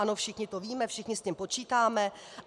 Ano, všichni to víme, všichni s tím počítáme.